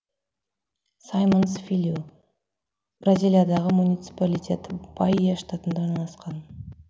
симойнс филью бразилиядағы муниципалитет баия штатында орналасқан